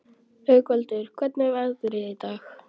Haukvaldur, hvernig er veðrið í dag?